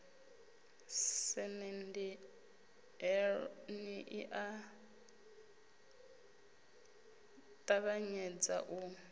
semenndeni i a ṱavhanyedza u